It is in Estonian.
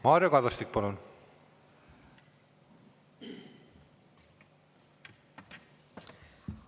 Mario Kadastik, palun!